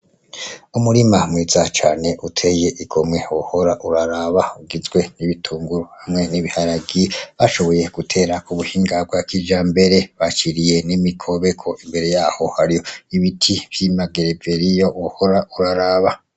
Umurima mwiza cane uteye igomwe wohora uraraba, ugizwe n'ibitunguru hamwe n'ibiharage, bashoboye gutera kubuhinga bwa kijambere, baciriye n'imikobeko, imbere yaho hari ibiti vy'amagereveriyo wohora uraraba.